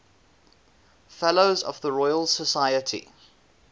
fellows of the royal society